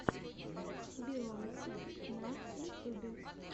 бейонсе на ютубе